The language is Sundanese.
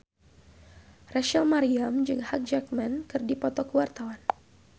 Rachel Maryam jeung Hugh Jackman keur dipoto ku wartawan